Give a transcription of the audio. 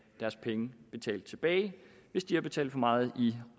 deres penge betalt tilbage hvis de har betalt for meget i